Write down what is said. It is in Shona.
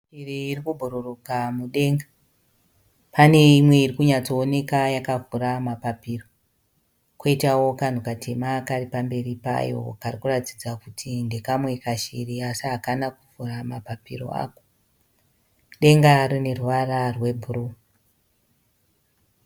Shiri iri kubhururuka mudenga. Pane imwe iri kunyatsooneka yakavhura mapapiro. Kwoitawo kanhu katema kari pamberi payo kari kuratidza kuti ndekamwe kashiri asi hakana kuvhura mapapiro ako. Denga rine ruvara rwebhuruu.